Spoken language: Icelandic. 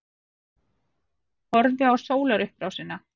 Horfðu á sólarupprásina.